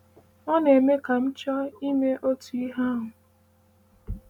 “Ọ na-eme ka m chọọ ime otu ihe ahụ.”